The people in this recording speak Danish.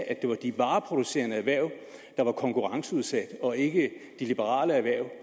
at det var de vareproducerende erhverv der var konkurrenceudsat og ikke de liberale erhverv